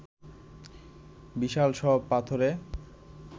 বিশাল সব পাথুরে